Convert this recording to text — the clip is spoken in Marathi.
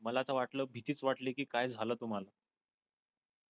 मला अस वाटल भीतीच वाटली कि काय झाल तुम्हाला.